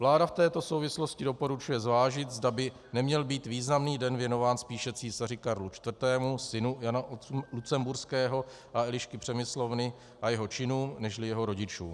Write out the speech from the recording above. Vláda v této souvislosti doporučuje zvážit, zda by neměl být významný den věnován spíše císaři Karlu IV., synu Jana Lucemburského a Elišky Přemyslovny, a jeho činům nežli jeho rodičům.